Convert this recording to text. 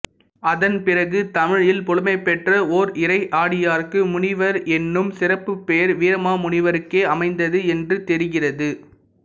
அதன் பிறகு தமிழில் புலமை பெற்ற ஓர் இறையடியாருக்கு முனிவர் என்னும் சிறப்புப் பெயர் வீரமாமுனிவருக்கே அமைந்தது என்று தெரிகிறது